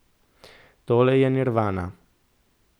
Tole je nirvana.